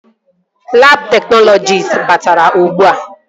Labụ teknọlọjist batara ugbua